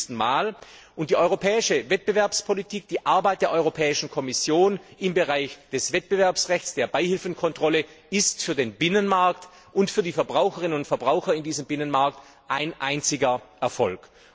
40. Mal und die europäische Wettbewerbspolitik, die Arbeit der Europäischen Kommission im Bereich des Wettbewerbsrechts, der Beihilfenkontrolle ist für den Binnenmarkt und für die Verbraucherinnen und Verbraucher in diesem Binnenmarkt ein einziger Erfolg.